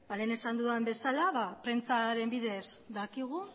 lehen esan dudan bezala prentsaren bidez dakigu